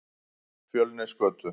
Fjölnisgötu